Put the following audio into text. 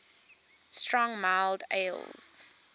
strong mild ales